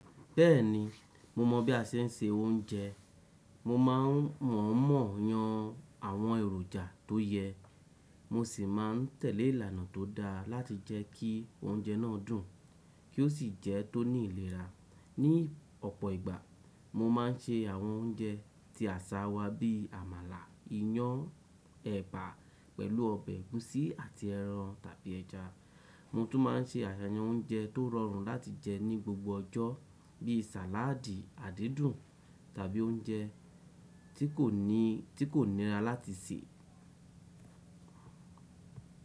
Bẹ́ẹ̀ni, mo mọ̀ bí a ṣe ń se oúnjẹ. Mo máa ń mọ̀ọ́mọ̀ yan àwọn èròjà tó yẹ, mo sì máa ń tẹ̀lé ìlànà tó dáa láti jẹ́kí oúnjẹ náà dùn kí ó sì jẹ́ tó ní ìlera. Ni ọ̀pọ̀ ìgbà, mo máa ń se àwọn oúnjẹ ti àṣà wa bí àmàlà, iyán, ẹ̀bà pẹ̀lú ọbẹ̀ ẹ̀gúsí àti ẹran tàbí ẹja. Mo tún máa ń se àyányán oúnjẹ tó rọrùn láti jẹ ní gbogbo ọjọ́ bí sàláàdì, àdídùn tàbí oúnjẹ ti kò níra láti sè.